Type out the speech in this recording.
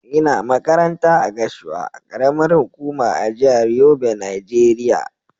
Ina makaranta a Gashua, karamar hukuma a jihar Yobe Nigeria.